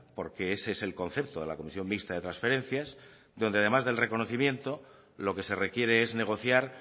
porque ese es el concepto de la comisión mixta de transferencias donde además del reconocimiento lo que se requiere es negociar